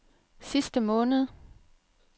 sidste måned